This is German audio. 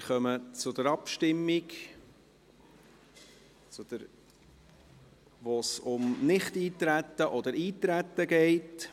Wir kommen zur Abstimmung, bei der es um Nichteintreten oder Eintreten geht.